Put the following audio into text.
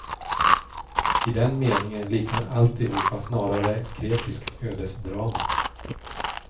I den meningen liknar alltihop snarare ett grekiskt ödesdrama.